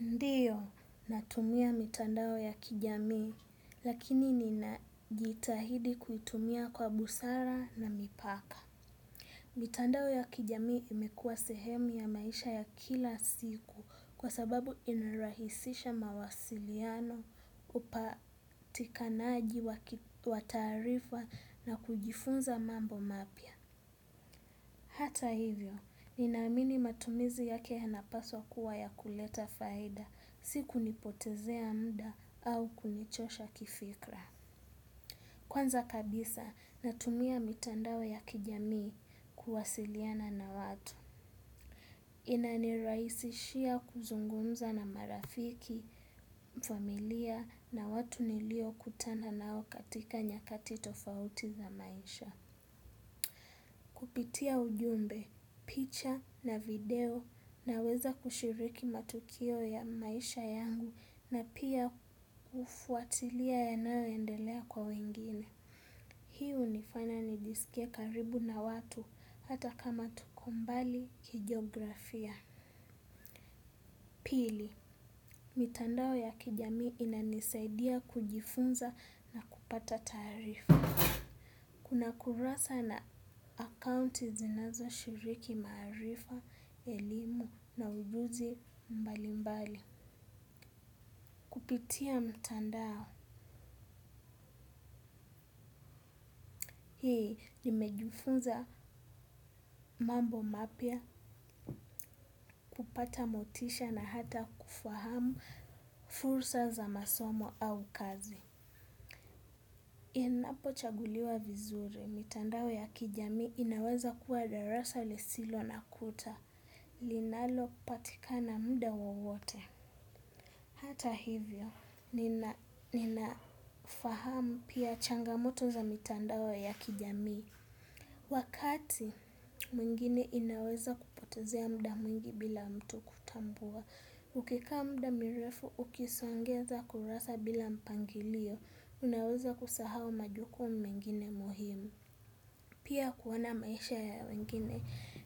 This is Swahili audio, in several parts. Ndiyo, natumia mitandao ya kijamii, lakini ninajitahidi kuitumia kwa busara na mipaka. Mitandao ya kijamii imekua sehemu ya maisha ya kila siku kwa sababu inarahisisha mawasiliano upatikanaji wa taarifa na kujifunza mambo mapya. Hata hivyo, ninaamini matumizi yake yanapaswa kuwa ya kuleta faida, si kunipotezea mda au kunichosha kifikra. Kwanza kabisa, natumia mitandao ya kijamii kuwasiliana na watu. Inani rahisishia kuzungumza na marafiki, familia na watu nilio kutana nao katika nyakati tofauti za maisha. Kupitia ujumbe, picha na video na weza kushiriki matukio ya maisha yangu na pia kufuatilia yanayo endelea kwa wengine. Hii hunifanya ni jisikie karibu na watu hata kama tuko mbali kijografia. Pili, mitandao ya kijamii inanisaidia kujifunza na kupata taarifa. Kuna kurasa na akaunti zinazo shiriki maarifa, elimu na ujuzi mbali mbali. Kupitia mtandao, hii nimejifunza mambo mapya, kupata motisha na hata kufahamu fursa za masomo au kazi. Inapo chaguliwa vizuri, mitandao ya kijamii inaweza kuwa darasa lisilo na kuta, linalo patikana mda wowote. Hata hivyo, ninafahamu pia changamoto za mitandao ya kijamii. Wakati, mwingine inaweza kupotezea mda mwingi bila mtu kutambua. Ukikaa mda mirefu, ukisongeza kurasa bila mpangilio, unaweza kusahau majukumu mengine muhimu. Pia kuona maisha ya wengine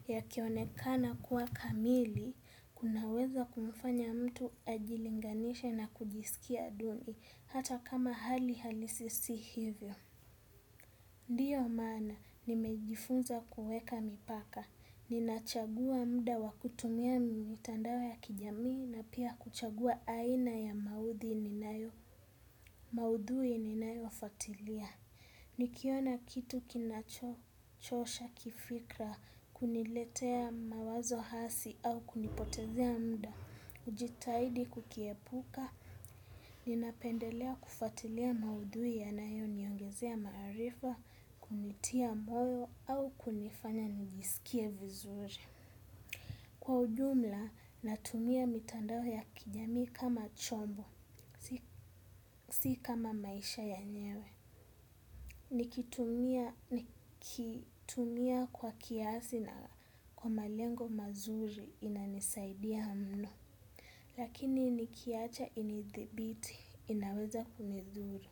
yakionekana kuwa kamili kuna uwezo wa kumfanya mtu ajilinganishe na kujiskia duni ata kama hali halisi si hivyo ndiyo maana nimejifunza kuweka mipaka. Ninachagua mda wakutumia mitandao ya kijamii na pia kuchagua aina ya maudhui ninayo fatilia. Nikiona kitu kinachosha kifikra, kuniletea mawazo hasi au kunipotezea mda, ujitaidi kukiepuka, ninapendelea kufatilia maudhui ya nayo niongezea maarifa, kunitia moyo au kunifanya njisikie vizuri. Kwa ujumla, natumia mitandao ya kijamii kama chombo, si kama maisha ya nyewe. Nikitumia kwa kiasi na kwa malengo mazuri inanisaidia mno. Lakini nikiacha inithibiti inaweza kunidhuru.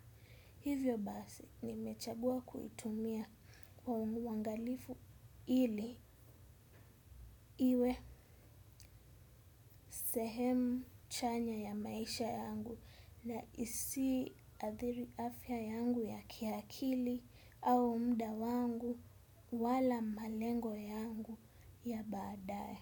Hivyo basi, nimechagua kuitumia kwa umuangalifu ili iwe sehemu chanya ya maisha yangu na isiadhiri afya yangu ya kiakili au mda wangu wala malengo yangu ya baadae.